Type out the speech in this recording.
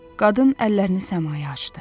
Qadın əllərini səmaya açdı.